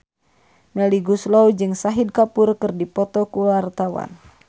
Melly Goeslaw jeung Shahid Kapoor keur dipoto ku wartawan